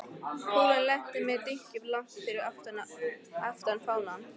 Kúlan lenti með dynkjum langt fyrir aftan fánann.